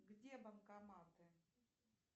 где банкоматы